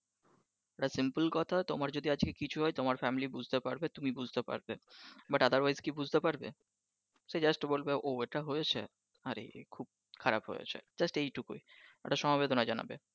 একটা simple কথা তোমার যদি আজকে কিছু হয় তোমার family বুঝতে পারবে তুমি বুঝতে পারবে । but otherwise কেউ কি বুঝতে পারবে। সে just বলবে যে ও এইটা হয়েছে আরে খুব খারাপ হয়েছে just এইটুকুই একটা সমবেদনা জানাবে